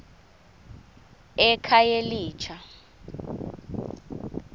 ekhayelitsha